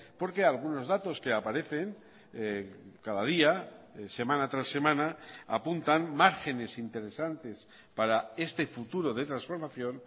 porque algunos datos que aparecen cada día semana tras semana apuntan márgenes interesantes para este futuro de transformación